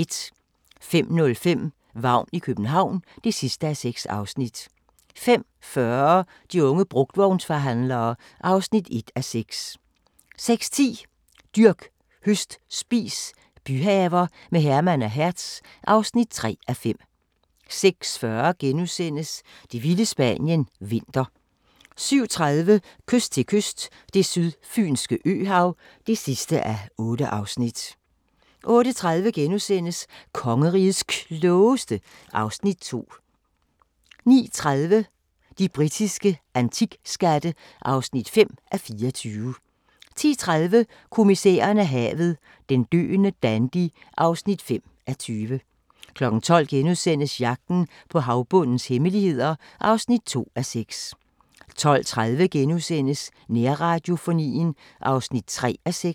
05:05: Vagn i København (6:6) 05:40: De unge brugtvognsforhandlere (1:6) 06:10: Dyrk, høst, spis – byhaver med Herman og Hertz (3:5) 06:40: Det vilde Spanien – vinter * 07:30: Kyst til kyst – Det sydfynske øhav (8:8) 08:30: Kongerigets Klogeste (Afs. 2)* 09:30: De britiske antikskatte (5:24) 10:30: Kommissæren og havet: Den døende dandy (5:20) 12:00: Jagten på havbundens hemmeligheder (2:6)* 12:30: Nærradiofonien (3:6)*